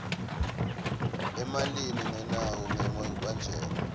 emalini lengenako lengabanjelwa